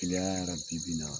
Kileya ra bi bi in na